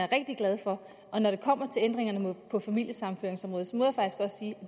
rigtig glad for og når det kommer til ændringerne på familiesammenføringsområdet